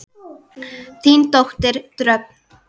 Þín dóttir Dröfn.